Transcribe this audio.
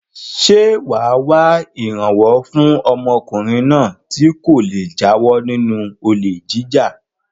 Ṣé wà á wá ìrànwọ́ fún ọmọkùnrin náà kí ó le jáwọ́ nínú olè jíjà?